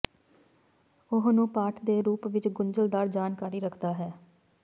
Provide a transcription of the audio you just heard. ਉਹ ਨੂੰ ਪਾਠ ਦੇ ਰੂਪ ਵਿੱਚ ਗੁੰਝਲਦਾਰ ਜਾਣਕਾਰੀ ਰੱਖਦਾ ਹੈ